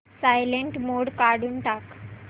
silent mode काढून टाक